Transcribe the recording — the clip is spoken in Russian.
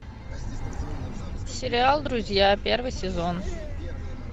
сериал друзья первый сезон